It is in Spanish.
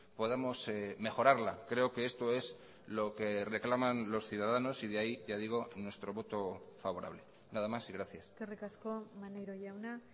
podamos mejorarla creo que esto es lo que reclaman los ciudadanos y de ahí ya digo nuestro voto favorable nada más y gracias eskerrik asko maneiro jauna